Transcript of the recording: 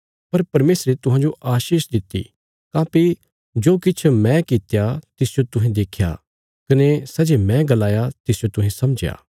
पर परमेशरे तुहांजो आशीष दित्ति काँह्भई जो किछ मैं कित्या तिसजो तुहें देख्या कने सै जे मैं गलाया तिसजो तुहें समझया